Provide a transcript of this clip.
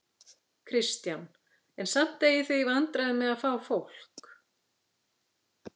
Kristján: En samt eigið þið í vandræðum með að fá fólk?